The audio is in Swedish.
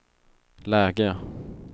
läge